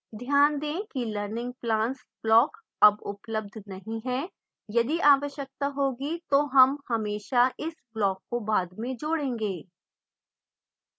ध्यान दें कि learning plans block अब उपलब्ध नहीं है